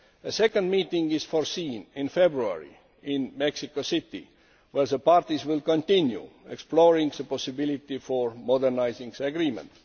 A second meeting is foreseen in February in Mexico City, where the parties will continue exploring the possibility for modernising the agreement.